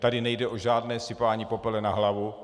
Tady nejde o žádné sypání popela na hlavu.